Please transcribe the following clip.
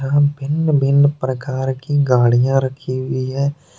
भिन्न भिन्न प्रकार की गाड़ियां रखी हुई है।